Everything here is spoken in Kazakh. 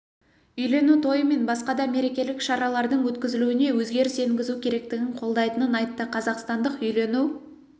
үйлену тойы мен басқа да мерекелік шаралардың өткізілуіне өзгеріс енгізу керектігін қолдайтынын айтты қазақстандық үйлену